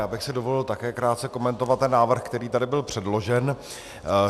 Já bych si dovolil také krátce komentovat ten návrh, který tady byl předložen.